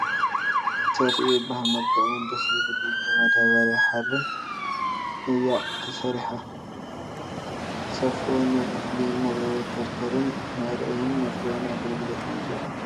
ሰፍኢ ይበሃል መልክዑ'ውን ደስ እዩ ዝብል ብመዳበርያን ሓርን እያ ተሰሪሓ ፡ ሰፍኡ ንእኽሊ መንተርተርን መእረይን መፅረይን ኣገልግሎት እዩ ይውዕል ።